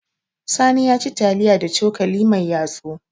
Sani ya ci taliya da cokali mai yatsu.